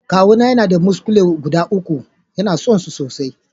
Kawu na yana da muskule guda uku, ya na son su sosai.